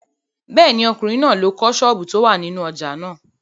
Bẹ́ẹ̀ni, ọkùnrin náà ló kọ́ àwọn sọ́ọ̀bù tó wà nínú ojà náà.